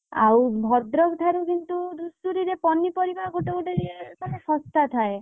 ଆଉ ଭଦ୍ରକ ଠାରୁ କିନ୍ତୁ ଧୂସୁରୀରେ ପନିପରିବା ଗୋଟେ ଗୋଟେ ଜାଗାରେ ଶସ୍ତା ଥାଏ।